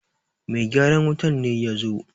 Mai gyaran wutar ne ya zo!